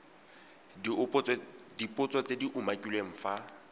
dipotso tse di umakiliweng fa